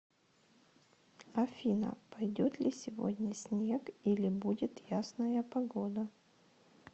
афина пойдет ли сегодня снег или будет ясная погода